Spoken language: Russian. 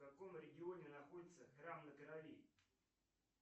в каком регионе находится храм на крови